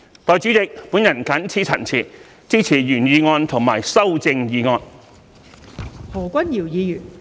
代理主席，我謹此陳辭，支持原議案和修正案。